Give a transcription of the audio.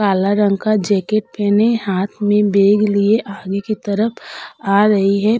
काला रंग का जैकेट पहने हाथ में बैग लिए आगे की तरफ आ रही है।